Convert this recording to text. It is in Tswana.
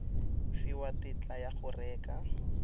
fiwa tetla ya go reka